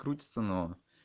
крутится но